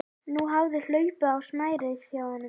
Nú hafði hlaupið á snærið hjá honum.